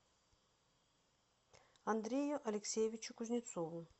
андрею алексеевичу кузнецову